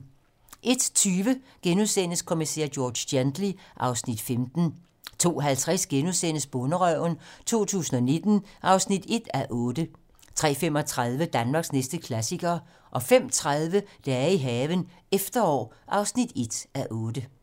01:20: Kommissær George Gently (Afs. 15)* 02:50: Bonderøven 2019 (1:8)* 03:35: Danmarks næste klassiker 05:30: Dage i haven - efterår (1:8)